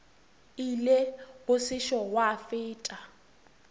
ile go sešo gwa feta